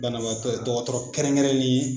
Banabaatɔ ye, dɔgɔtɔrɔ kɛrɛnkɛrɛnnen ye